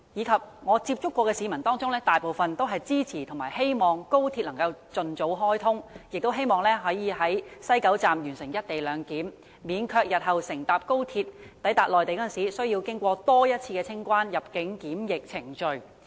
在我曾接觸的市民當中，大部分均支持和希望高鐵能盡早開通，並希望可在西九龍站完成"一地兩檢"，免卻日後乘搭高鐵抵達內地時需要進行多一次清關、入境及檢疫程序。